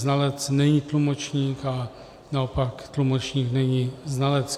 Znalec není tlumočník a naopak tlumočník není znalec.